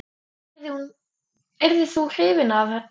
Yrðir þú hrifinn af því?